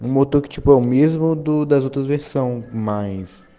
вот так чипом ему дозреть самым айс